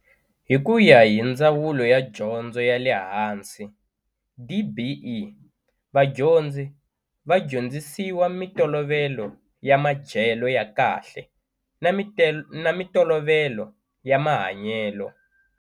Hi ku ya hi Ndzawulo ya Dyondzo ya le Hansi, DBE, vadyondzi va dyondzisiwa mitolovelo ya madyelo ya kahle na mitolovelo ya mahanyelo.